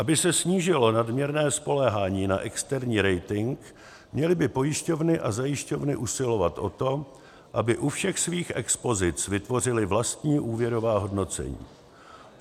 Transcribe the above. Aby se snížilo nadměrné spoléhání na externí rating, měly by pojišťovny a zajišťovny usilovat o to, aby u všech svých expozic vytvořily vlastní úvěrová hodnocení.